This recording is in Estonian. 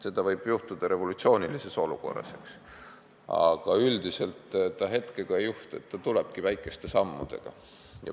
See võib juhtuda revolutsioonilises olukorras, eks ole, aga üldiselt see hetkega ei juhtu, see toimubki väikeste sammudega.